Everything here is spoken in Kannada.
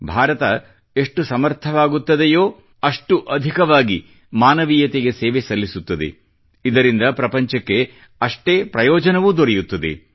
ಭಾರತ ಎಷ್ಟು ಸಮರ್ಥವಾಗುತ್ತದೆಯೋ ಅಷ್ಟು ಅಧಿಕವಾಗಿ ಮಾನವಿಯತೆಗೆ ಸೇವೆ ಸಲ್ಲಿಸುತ್ತದೆ ಇದರಿಂದ ಪ್ರಪಂಚಕ್ಕೆ ಅಷ್ಟೇ ಪ್ರಯೋಜನವೂ ದೊರೆಯುತ್ತದೆ